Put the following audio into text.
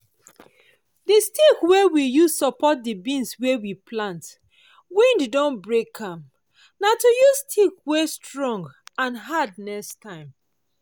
the stick wey we use support the beans wey we plant wind don break am—na to use stick wey dey stong and hard next time.